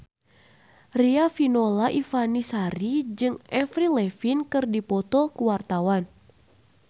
Riafinola Ifani Sari jeung Avril Lavigne keur dipoto ku wartawan